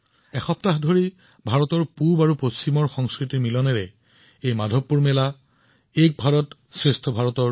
সপ্তাহজুৰি ভাৰতৰ পূব আৰু পশ্চিমৰ সংস্কৃতিৰ এই সংমিশ্ৰণ এই মাধৱপুৰ মেলা এক ভাৰত শ্ৰেষ্ঠ ভাৰতৰ এক সুন্দৰ উদাহৰণ হৈ আহিছে